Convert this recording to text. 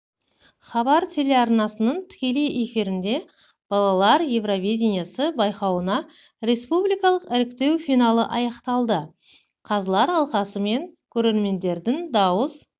хабар телеарнасының тікелей эфирінде балалар евровидениесі байқауына республикалық іріктеу финалы аяқталды қазылар алқасы мен көрермендердің дауыс